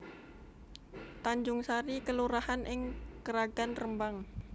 Tanjungsari kelurahan ing Kragan Rembang